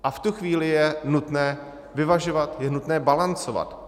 A v tu chvíli je nutné vyvažovat, je nutné balancovat.